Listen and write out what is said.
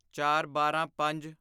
ਚਾਰਬਾਰਾਂਪੰਜ